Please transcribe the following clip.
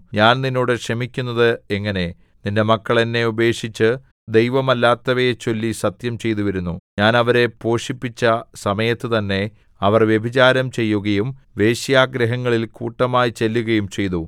ഞാൻ നിന്നോട് ക്ഷമിക്കുന്നത് എങ്ങനെ നിന്റെ മക്കൾ എന്നെ ഉപേക്ഷിച്ച് ദൈവമല്ലാത്തവയെ ചൊല്ലി സത്യം ചെയ്തുവരുന്നു ഞാൻ അവരെ പോഷിപ്പിച്ച സമയത്തുതന്നെ അവർ വ്യഭിചാരം ചെയ്യുകയും വേശ്യാഗൃഹങ്ങളിൽ കൂട്ടമായി ചെല്ലുകയും ചെയ്തു